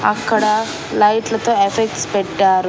అక్కడ లైట్లు తో ఎఫెక్ట్స్ పెట్టారు.